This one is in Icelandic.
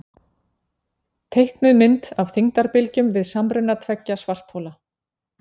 teiknuð mynd af þyngdarbylgjum við samruna tveggja svarthola